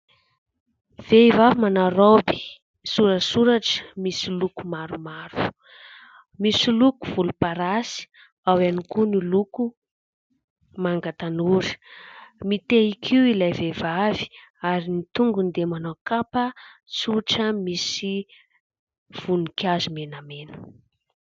vehivavy manao raoby sorasoratra misy loko maromaro, misy loko volom-parasy, ao ihany koa ny loko manga tanora; mitehin-kiho ilay vehivavy ary ny tongony dia manao kapa tsotra misy voninkazo menamena